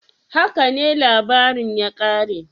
"Haka ne labarin ya kare?"